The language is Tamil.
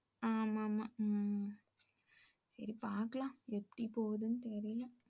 ஆமா, ஆமா. உம் சரி பாக்கலாம் எப்படி போகுதுன்னு தெரியல.